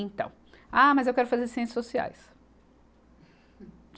Então, ah, mas eu quero fazer ciências sociais.